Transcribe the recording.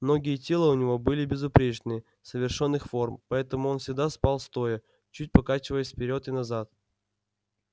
ноги и тело у него были безупречные совершенных форм поэтому он всегда спал стоя чуть покачиваясь вперёд и назад